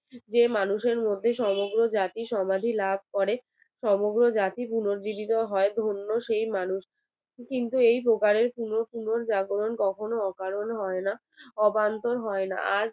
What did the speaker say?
সমগ্র জাতি পুনর্ জীবিত হয় ধন্য সেই মানুষকে কিন্তু এই প্রকারের পুন পুনঃজাগরণ কখনো অকারণ হয় না। অবান্তর হয় না